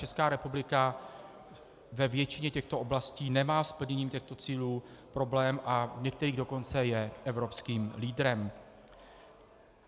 Česká republika ve většině těchto oblastí nemá s plněním těchto cílů problém, a v některých dokonce je evropským lídrem.